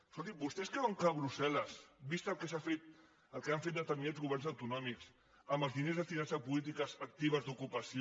escolti vostès creuen que brussel·les vist el que s’ha fet el que han fet determinats governs autonòmics amb els diners destinats a polítiques actives d’ocupació